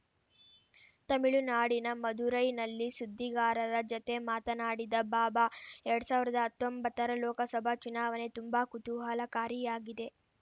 ತಮಿಳುನಾಡಿನ ಮದುರೈನಲ್ಲಿ ಸುದ್ದಿಗಾರರ ಜತೆ ಮಾತನಾಡಿದ ಬಾಬಾ ಎರಡ್ ಸಾವಿರದ ಹತ್ತೊಂಬತ್ತರ ಲೋಕಸಭೆ ಚುನಾವಣೆ ತುಂಬಾ ಕುತೂಹಲಕಾರಿಯಾಗಿದೆ